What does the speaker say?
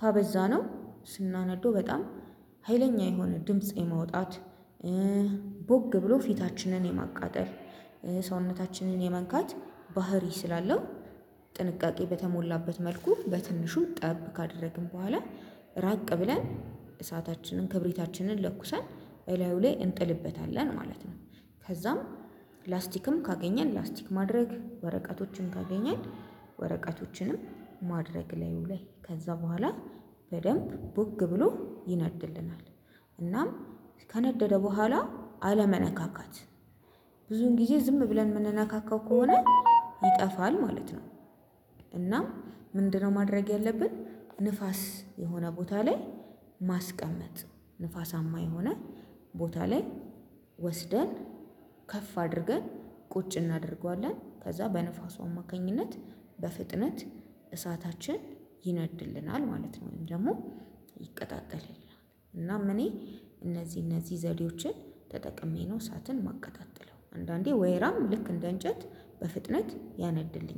ካበዛነው ስናነዶ በጣም ሀይለኛ የሆነ ድምጽ የማውጣት። ቦግ ብሎ ፊታችንን የማቃጠል ሰውነታችንን የመንካት ባህሪ ስላለው ጥንቃቄ በተሞላበት መልኩ በትንሹ ጠብ ካደረግን በኋላ ራቅ ብለን እሳታችንን ክብሪታችንን ለኩሰን በላዩ ላይ እንጥልበታለን ማለት ነው። ከዛም ላስቲክም ካገኘን ላስቲክ ማድረግ ወረቀቶችን ካገኘን ወረቀቶችንም ማድረግ ላዩ ለይ ከዛ በኋላ በደንብ ቦግ ብሎ ይነድልናል። እናም ከነደደ በኋላ አለመነካካት ብዙን ጊዜ ዝም ብለን ምንነካካው ከሆነ ይጠፋል ማለት ነው። እናም ምንድነው? ማድረግ ያለብን ንፋስ የሆነ ቦታ ላይ ማስቀመጥ ንፋሳማ የሆነ ቦታ ላይ ወስደን ከፍ አድርገን ቁጭ እናደርገዋለን ከዛ በንፋሱ አማካኝነት በፍጥነት እሳታችን ይነድልናል ማለት ነው። ወይም ደሞ ይቀጣጠልልናል። እናም እኔ እነዚ እነዚ ዘዴዎችን ተጠቅሜ ነው እሳትን ማቀጣጥለው አንዳንዴ ወይራም ልክ እንደ እንጨት በፍጥነት ያነድልኛል